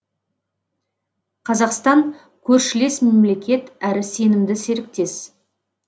қазақстан көршілес мемлекет әрі сенімді серіктес